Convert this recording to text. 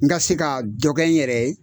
N ka se ka dɔ kɛ n yɛrɛ ye